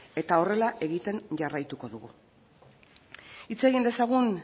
eta horrela egiten jarraituko dugu hitz egin dezagun